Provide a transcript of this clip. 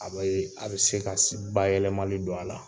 A be , a be se ka si ba yɛlɛmali don a la.